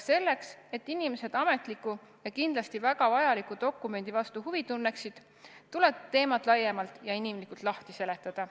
Selleks, et inimesed selle ametliku ja kindlasti väga vajaliku dokumendi vastu huvi tunneksid, tuleb teemad laiemalt ja inimlikumalt lahti seletada.